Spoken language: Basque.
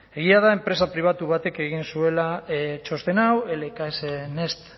egia da enpresa pribatu batek egin zuela txosten hau lks next